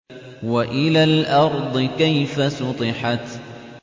وَإِلَى الْأَرْضِ كَيْفَ سُطِحَتْ